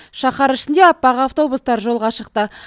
шаһар ішінде аппақ автобустар жолға шықты